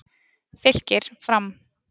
Fylkir- Fram